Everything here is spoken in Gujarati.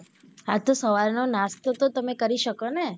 હા તો સવાર નો નાસ્તો તો તમે કરી શકોને.